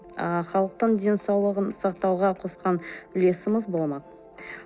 ы халықтың денсаулығын сақтауға қосқан үлесіміз болмақ